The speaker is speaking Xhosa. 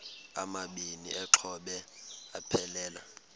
amabini exhobe aphelela